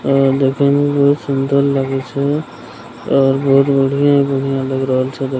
और देखे में बहुत सूंदर लगे छै और बहुत बढ़िया-बढ़िया लग रहल छै।